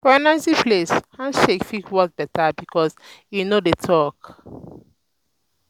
for noisy place handshake fit work better because e no need talk.